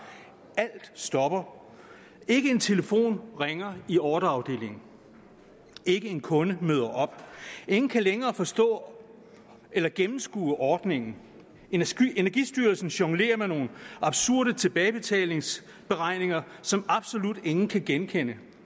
alt stopper ikke en telefon ringer i ordreafdelingen ikke en kunde møder op ingen kan længere forstå eller gennemskue ordningen energistyrelsen jonglerer med nogle absurde tilbagebetalingsberegninger som absolut ingen kan genkende